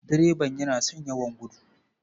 Direban yana son yawan gudu.